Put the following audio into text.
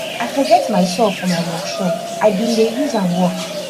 i forget my saw for my work shop i bin dey use am work